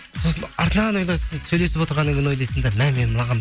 сосын артынан ойлайсың сөйлесіп отырғаннан кейін ойлайсың да мә мен мынаған